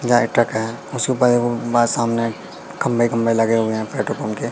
जा ये ट्रक है उसके ऊपर एक गो बा सामने खंभे खंभे लगे हुए है पेट्रोल पंप पंप के --